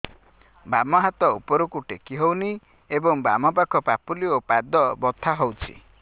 ବାମ ହାତ ଉପରକୁ ଟେକି ହଉନି ଏବଂ ବାମ ପାଖ ପାପୁଲି ଓ ପାଦ ବଥା ହଉଚି